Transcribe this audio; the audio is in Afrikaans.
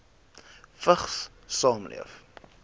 vigs saamleef